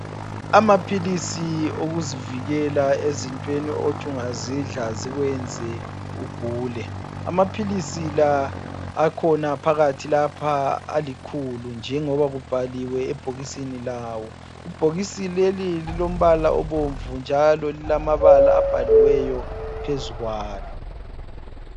Amaphilisi okuzivikela ezintweni othi ungazidla zikwenze ugule. Amaphilisi la akhona phakathi lapha alikhulu njengoba kubhaliwe ebhokisini lawo. Ibhokisi leli lilombala obomvu njalo lilamabala abhaliweyo phezu kwalo.